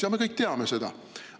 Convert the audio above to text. Jaa, me kõik teame seda.